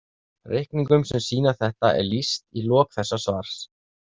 Reikningum sem sýna þetta er lýst í lok þessa svars.